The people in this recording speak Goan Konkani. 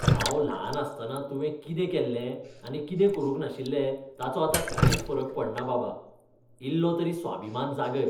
हांव ल्हान आसतना तुवें कितें केल्लें आनी कितें करूंक नाशिल्लें ताचो आतां कांयच फरक पडना, बाबा. इल्लो तरी स्वाभिमान जागय!